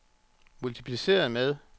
multipliceret med